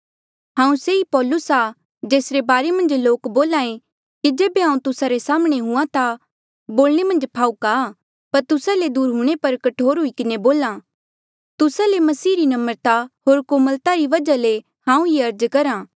हांऊँ से ई पौलुस आ जेसरे बारे मन्झ लोक बोल्हे कि जेबे हांऊँ तुस्सा रे साम्हणें हुआ ता बोलणे मन्झ फाहूका आ पर तुस्सा ले दूर हूंणे पर कठोर हुई किन्हें बोला तुस्सा ले मसीह री नम्रता होर कोमलता री वजहा ले हांऊँ ये अर्ज करहा